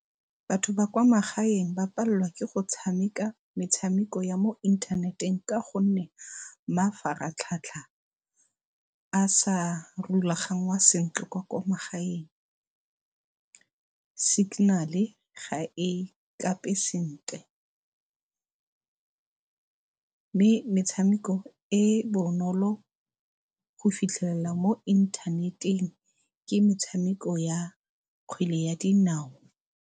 Batho ba kwa magaeng ba palelwa ke go tshameka metshameko ya mo inthaneteng ka gonne mafaratlhatlha a sa rulaganngwa sentle kwa ko magaeng. Signal-e ga e kape sentle, mme metshameko e e bonolo go fitlhelela mo inthaneteng ke metshameko ya kgwele ya dinao.